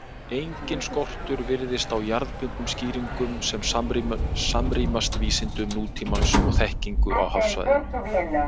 Enginn skortur virðist á jarðbundnum skýringum sem samrýmast vísindum nútímans og þekkingu á hafsvæðinu.